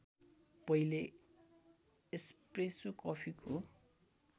पहिले एस्प्रेसो कफीको